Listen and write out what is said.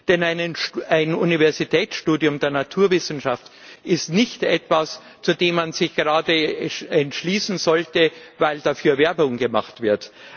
Denn ein Universitätsstudium der Naturwissenschaften ist nicht etwas, zu dem man sich gerade entschließen sollte, weil dafür Werbung gemacht wird.